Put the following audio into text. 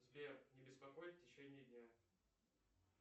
сбер не беспокоить в течение дня